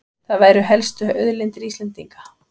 Það væru helstu auðlindir Íslendinga